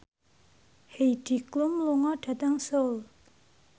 Heidi Klum lunga dhateng Seoul